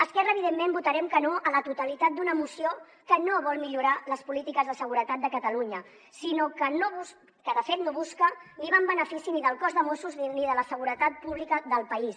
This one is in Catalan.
esquerra evidentment votarem que no a la totalitat d’una moció que no vol millorar les polítiques de seguretat de catalunya que de fet no busca ni va en benefici ni del cos de mossos d’esquadra ni de la seguretat pública del país